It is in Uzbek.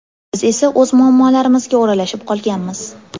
Biz esa o‘z muammolarimizga o‘ralashib qolganmiz.